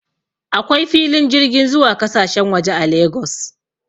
Akwai filin jirgin zuwa kasashen waje a Lagos